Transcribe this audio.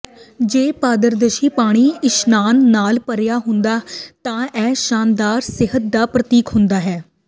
ਜੇ ਪਾਰਦਰਸ਼ੀ ਪਾਣੀ ਇਸ਼ਨਾਨ ਨਾਲ ਭਰਿਆ ਹੁੰਦਾ ਤਾਂ ਇਹ ਸ਼ਾਨਦਾਰ ਸਿਹਤ ਦਾ ਪ੍ਰਤੀਕ ਹੁੰਦਾ ਹੈ